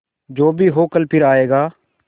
जो भी हो कल फिर आएगा